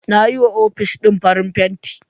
Nayi wa ofic din farin fenti